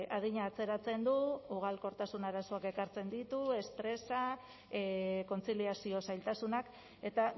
adina atzeratzen du ugalkortasun arazoak ekartzen ditu estresa kontziliazio zailtasunak eta